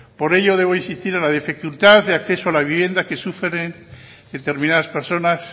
por ello debo insistir en la dificultad de acceso a la vivienda que sufren determinadas personas